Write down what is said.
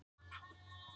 Það held ég.